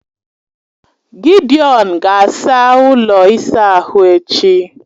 Gidiọn ga-asaa ụlọ ịsa ahụ echi